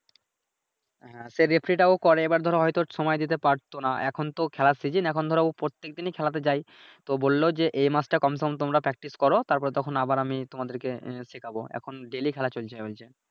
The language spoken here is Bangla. হ্যাঁ সে রেফরি টা ও করে But ধরো হয়তো সময় দিতে পারতো নাহ এখন তো খেলার সিজন এখন ধরো ও এখন প্রত্যেক দিনই খেলাতে যায়, তো বললো যে এই মাসটা Confirm তোমরা Practice করো তারপরে তখন আবার আমি তোমাদেরকে শেখাবো এখন ডেইলি খেলা চলছে বলছে